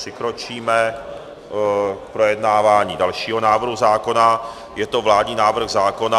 Přikročíme k projednávání dalšího návrhu zákona, je to vládní návrh zákona...